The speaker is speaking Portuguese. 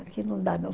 Aqui não dá não.